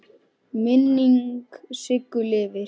Minning Siggu lifir.